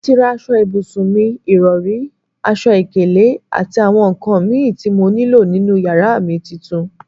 Mo ti rà aṣọ ibùsùn mi, ìrọri, aṣọ ìkélé àti àwọn nkan mì tí mo nílò nínú yàrá mi titun